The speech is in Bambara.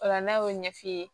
O la n'a y'o ɲɛf'i ye